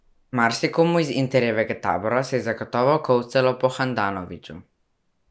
Marsikomu iz Interjevega tabora se je zagotovo kolcalo po Handanoviću ...